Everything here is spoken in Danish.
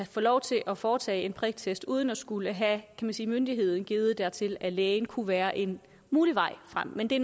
få lov til at foretage en priktest uden at skulle have kan man sige myndighed givet dertil af en læge kunne være en mulig vej frem men det